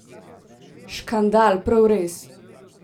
Škandal, prav res!